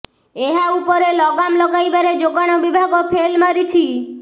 ଏହା ଉପରେ ଲଗାମ୍ ଲଗାଇବାରେ ଯୋଗାଣ ବିଭାଗ ଫେଲ୍ ମାରିଛି